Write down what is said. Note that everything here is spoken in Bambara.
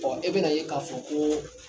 Ɔ e bɛna ye k'a fɔ ko